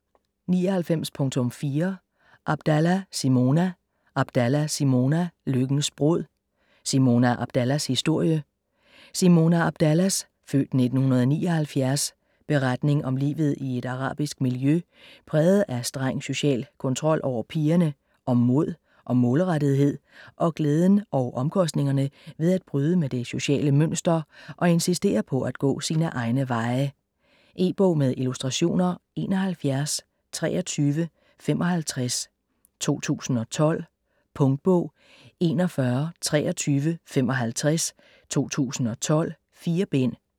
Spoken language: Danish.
99.4 Abdallah, Simona Abdallah, Simona: Lykkens brud: Simona Abdallahs historie Simona Abdallahs (f. 1979) beretning om livet i et arabisk miljø præget af streng social kontrol over pigerne, om mod og målrettethed og glæden og omkostningerne ved at bryde med det sociale mønster og insistere på at gå sine egne veje. E-bog med illustrationer 712355 2012. Punktbog 412355 2012. 4 bind.